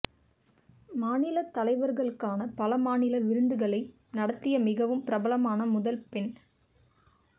மாநில தலைவர்களுக்கான பல மாநில விருந்துகளை நடத்திய மிகவும் பிரபலமான முதல் பெண்